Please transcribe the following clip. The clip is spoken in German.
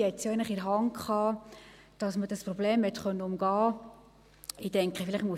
: Sie hatte es eigentlich in der Hand, dass man dieses Problem hätte umgehen können.